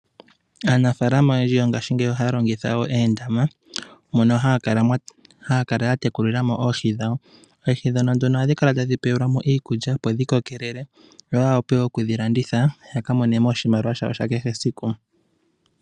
Aanafaalama oyendji yo ngaashingeyi ohaya longitha wo oondama, mono haya kala ya tekulila mo oohi dhawo. Oohi ndhono nduno ohadhi kala tadhi pewelwa mo iikulya, opo dhi kokelele yo ya wape wo okudhi landitha, yaka monemo oshimaliwa shawo sha kehe esiku.